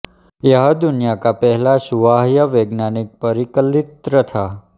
यह दुनिया का पहला सुवाह्य वैज्ञानिक परिकलित्र था